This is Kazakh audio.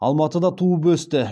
алматыда туып өсті